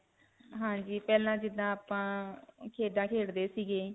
ਹਾਂਜੀ. ਪਹਿਲਾਂ ਜਿੱਦਾਂ ਆਪਾਂ ਅਅ ਖੇਡਾਂ ਖੇਡੇ ਸੀਗੇ.